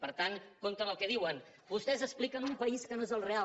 per tant compte amb el que diuen vostès expliquen un país que no és el real